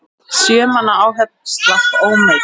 Sjö manna áhöfn slapp ómeidd.